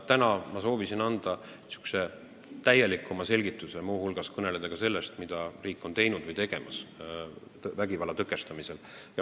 Täna ma soovisin anda täielikuma selgituse, muu hulgas kõneleda sellest, mida riik on teinud või tegemas vägivalla tõkestamisel.